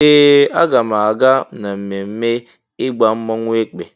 Ee! Aga m aga n'ememme ịgba mmọnwụ Èkpè.